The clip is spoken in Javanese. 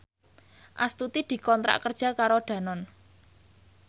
Astuti dikontrak kerja karo Danone